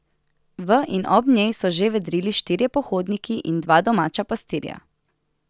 V in ob njej so že vedrili štirje pohodniki in dva domača pastirja.